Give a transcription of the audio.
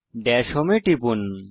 Das home এ টিপুন